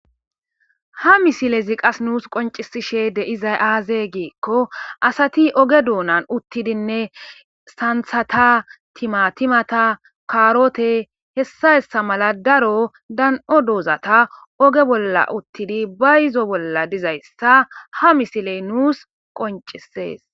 ha misilezi qas nuus qoncisishe de izay aazee giikko asati oge duunan uttidinne santhata timatimata kaarote hessa hessa mala daro dan7o doozata oge bolla uttidi bayzo bolla dizayssa ha misiley nuus qoncisees